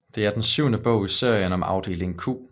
Det er den syvende bog i serien om Afdeling Q